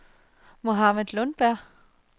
Mohammad Lundberg